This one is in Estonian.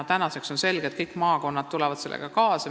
Tänaseks on selge, et kõik maakonnad tulevad sellega kaasa.